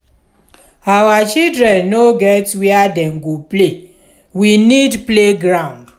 our children no get where dem go play we need playground.